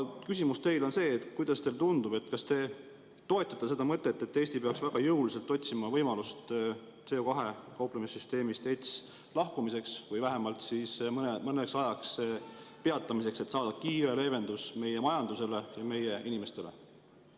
Küsimus teile on see: kuidas teile tundub, kas te toetate seda mõtet, et Eesti peaks väga jõuliselt otsima võimalust CO2‑ga kauplemise süsteemist ETS lahkumiseks või vähemalt mõneks ajaks peatamiseks, et saada kiire leevendus meie majandusele ja meie inimestele?